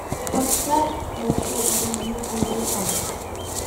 поставь большой и дружелюбный великан